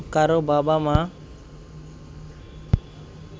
কারও বাবা-মা